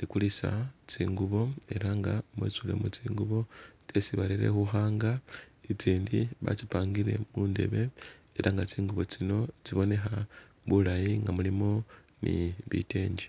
likulisa tsingubo ela nga mwetsulemu tsingubo tsyesi barere khu hanger, itsindi batsipangile mu ndebe ela nga tsingubo tsino tsibonekha bulayi nga mulimu ni bitengi.